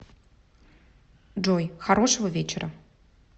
джой хорошего вечера